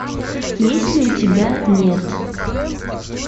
есть ли у тебя нет